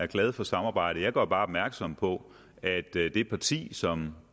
er glad for samarbejdet jeg gør bare opmærksom på at det det parti som